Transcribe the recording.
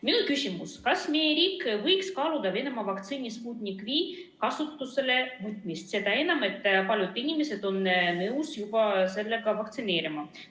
Minu küsimus: kas meie riik võiks kaaluda Venemaa vaktsiini Sputnik V kasutusele võtmist, seda enam, et paljud inimesed on nõus ennast laskma sellega vaktsineerida?